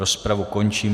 Rozpravu končím.